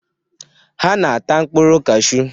Ha na-ata mkpụrụ kashuu.